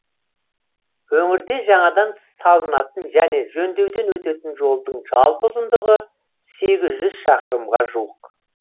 өңірде жаңадан салынатын және жөндеуден өтетін жолдың жалпы ұзындығы сегіз жүз шақырымға жуық